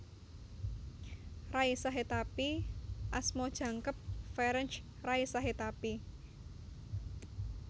Ray Sahetapy asma jangkep Ferenc Ray Sahetapy